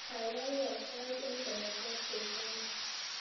Kaikai wal sai eng nganaset koek Kenya